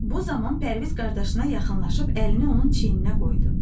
Bu zaman Pərviz qardaşına yaxınlaşıb əlini onun çiyninə qoydu.